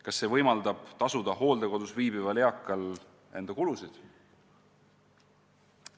Kas see võimaldab tasuda hooldekodus viibival eakal enda kulusid?